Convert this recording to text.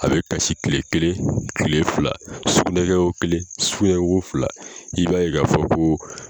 A bɛ kasi tile kelen, tile fila ,sukunɛ kɛ ko kelen sukunɛ kɛ ko fila i b'a ye k'a fɔ ko